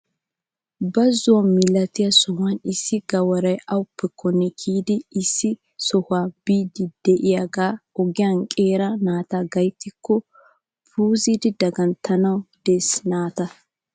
Bazo milatiyaa sohuwaan issi gawaray awappe konne kiyidi issi sohuwaa biidi de'iyaagee ogiyaan qeeri naati gayttiyaakko puuzidi daganttanawu de'ees naata!